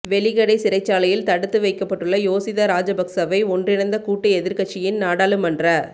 வெலிக்கடை சிறைச்சாலையில் தடுத்து வைக்கப்பட்டுள்ள யோசித ராஜபக்ஷவை ஒன்றிணைந்த கூட்டு எதிர்க்கட்சியின் நாடாளுமன்ற